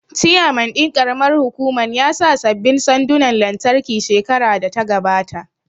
Chairman ɗin ƙaramar hukuman ya sa sabbin sandunan lantarki shekarar da ta gabata